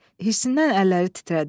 Hissindən əlləri titrədi.